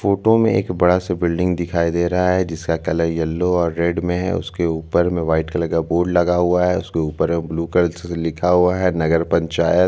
photo में एक बड़ा से बिल्डिंग दिखाई दे रहा है जिसका कलर येलो और रेड में है उसके ऊपर में व्हाइट कलर का बोर्ड लगा हुआ है उसके ऊपर में ब्लू कल से लिखा हुआ है नगर पंचायत--